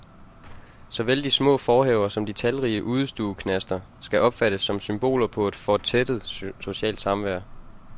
Såvel de små forhaver som de talrige udestueknaster skal opfattes som symboler på et fortættet socialt samvær.